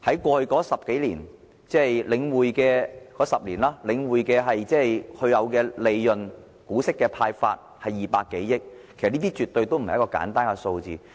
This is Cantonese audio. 過去這10多年，即領匯的10年，它派發的股息達200多億元，這絕對不是一個簡單的數字。